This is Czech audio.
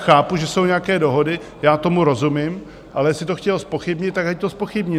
Chápu, že jsou nějaké dohody, já tomu rozumím, ale jestli to chtěl zpochybnit, tak ať to zpochybní.